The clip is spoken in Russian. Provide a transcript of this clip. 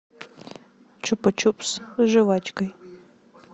чупа чупс с жвачкой